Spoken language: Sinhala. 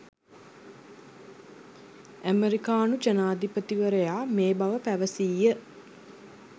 ඇමෙරිකානු ජනාධිපතිවරයා මේ බව පැවසීය